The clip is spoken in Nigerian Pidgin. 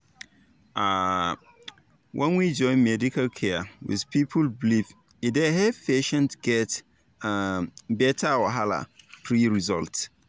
um when we join medical care with people belief e dey help patients get um better wahala-free result.